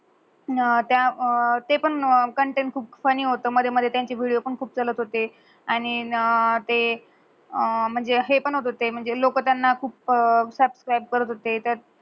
त्या ते पण कंटेंट खूप फन्नी हुत मधे मधे त्यांची विडियो पण चलत हुती. आणि ते म्हंजे हे पण हुत ते म्हंजे लोक त्यान्हा खूप suspect करत हुते.